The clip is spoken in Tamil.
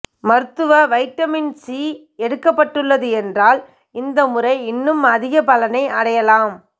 மருந்து வைட்டமின் சி எடுக்கப்பட்டுள்ள என்றால் இந்த முறை இன்னும் அதிக பலனை அடையலாம்